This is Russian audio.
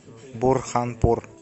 бурханпур